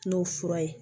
N'o fura ye